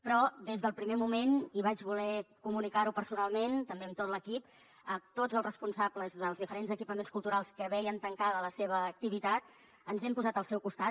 però des del primer moment i vaig voler comunicar ho personalment també amb tot l’equip a tots els responsables dels diferents equipaments culturals que veien tancada la seva activitat ens hem posat al seu costat